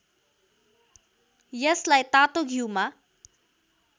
यसलाई तातो घिउमा